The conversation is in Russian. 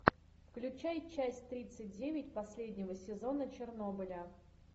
включай часть тридцать девять последнего сезона чернобыля